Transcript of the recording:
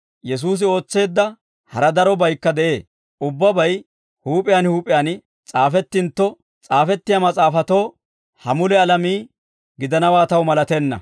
Yesuusi ootseedda hara darobaykka de'ee; ubbabay huup'iyaan huup'iyaan s'aafettintto, s'aafettiyaa mas'aafatoo ha mule alamii gidanawaa taw malatenna.